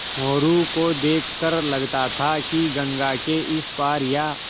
मोरू को देख कर लगता था कि गंगा के इस पार या